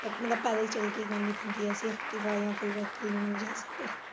ਮਤਲਬ ਪੈਦਲ ਚੱਲ ਕੇ ਕਰਨੀ ਪੈਂਦੀ ਐ safety ਵਾਲਿਆ ਕੋਲ ਵਾਸਤੇ।